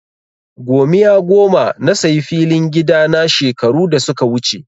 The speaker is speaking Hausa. Gomiya goma na sayi filin gida na shekaru da suka wuce.